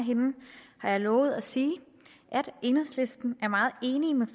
af hende lovet at sige at enhedslisten er meget enig med